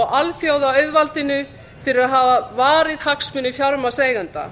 og alþjóðaauðvaldinu fyrir að hafa varið hagsmuni fjármagnseigenda